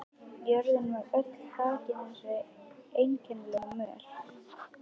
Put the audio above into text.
Jörðin var öll þakin þessari einkennilegu möl.